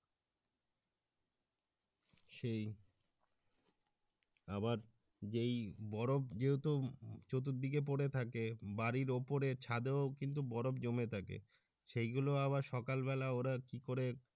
সেই আবার যেই বরফ যেহেতু চতুর্থদিকে পরে থাকে বাড়ির উপরে ছাদেও কিন্তু বরফ জমে থাকে সেই গুলো আবার সকাল বেলা ওরা কি করে